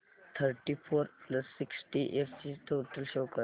thirty four plus sixty eight ची total show कर